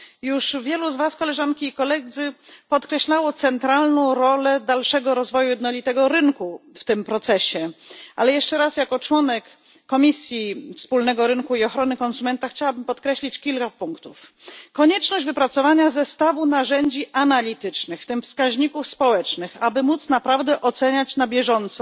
Już wielu z was, Koleżanki i Koledzy, podkreślało centralną rolę dalszego rozwoju jednolitego rynku w tym procesie, ale jeszcze raz, jako członek Komisji Rynku Wewnętrznego i Ochrony Konsumentów, chciałabym podkreślić kilka punktów konieczność wypracowania zestawu narzędzi analitycznych, w tym wskaźników społecznych, aby móc naprawdę oceniać na bieżąco